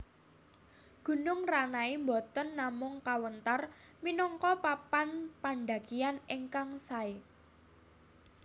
Gunung Ranai boten namung kawentar minangka papan pandhakian ingkang saé